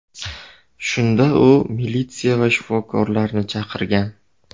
Shunda u militsiya va shifokorlarni chaqirgan.